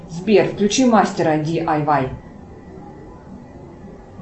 сбер включи мастера ди ай вай